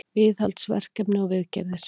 Viðhaldsverkefni og viðgerðir.